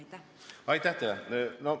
Aitäh teile!